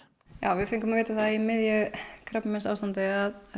við fengum að vita það í miðju krabbameinsástandi að